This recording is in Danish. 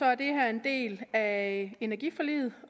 er det her en del af energiforliget